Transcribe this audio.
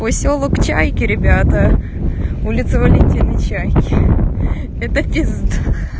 посёлок чайки ребята улица валентины чайки это пизда